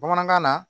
Bamanankan na